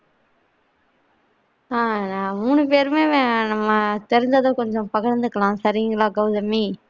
ஆஹ் நாங்க மூணு பேருமே நம்ம தெரிஞ்சத கொஞ்சம் பகிர்ந்திக்கலாம் சரிங்களா கவுதமி